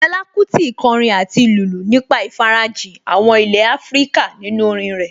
Fẹlá Kúti kọrin àti lùlù nípa ìfarajìn àwọn ilé Áfríkà nínú orin rẹ̀